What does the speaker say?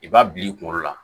I b'a bila i kunkolo la